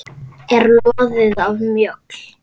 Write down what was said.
er loðið af mjöll.